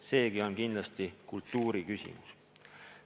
Seegi on kindlasti kultuuri küsimus.